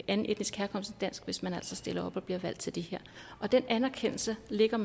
anden etnisk herkomst end dansk hvis man altså stiller op og bliver valgt til det her og den anerkendelse lægger